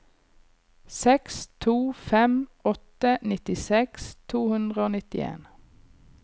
seks to fem åtte nittiseks to hundre og nittien